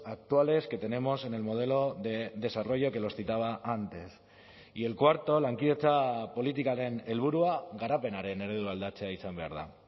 actuales que tenemos en el modelo de desarrollo que los citaba antes y el cuarto lankidetza politikaren helburua garapenaren eredua aldatzea izan behar da